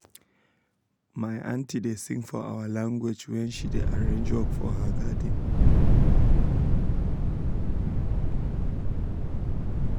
my aunty da sing for our language wen she da arrange work for her garden